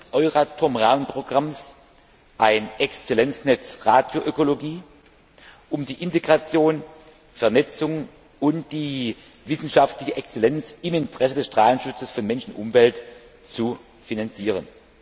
7. Euratom Rahmenprogramms ein Exzellenznetz Radioökologie, um die Integration, Vernetzung und die wissenschaftliche Exzellenz im Interesse des Strahlenschutzes für Mensch und Umwelt zu finanzieren.